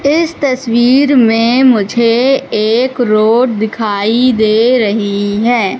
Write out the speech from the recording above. इस तस्वीर में मुझे एक रोड दिखाई दे रही है।